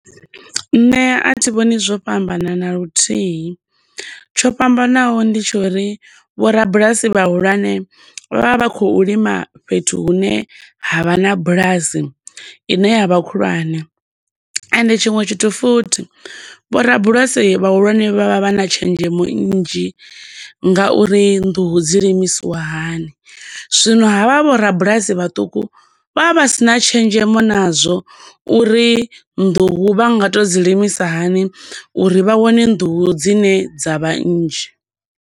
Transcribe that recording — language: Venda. Nṋe a thi vhoni zwo fhambana na luthihi, tsho fhambano ndi tsho uri vhorabulasi vha hulwane vha vha khou lima fhethu hune ha vha na bulasi ine ya vha khulwane, ende tshiṅwe tshithu futhi vho rabulasi vhahulwane vha vha vha na tshenzhemo nnzhi nga uri nḓuhu dzi limisiwa hani. Zwino ha vha vhorabulasi vhaṱuku vha vha vha sina tshenzhemo na zwo uri nḓuhu vha nga to dzi limisa hani, uri vha wane nḓuhu dzine dza vha nnzhi.